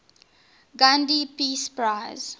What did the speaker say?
gandhi peace prize